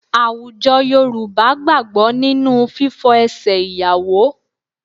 Àwùjọ Yorùbá gbàgbọ́ nínú fífọ ẹsẹ̀ ìyàwó